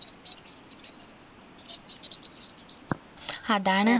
അതാണ്